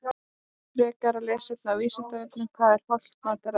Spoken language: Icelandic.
Frekara lesefni á Vísindavefnum Hvað er hollt mataræði?